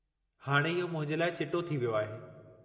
हाणे इहो मूंखे साफ़ु थी वियो आहे।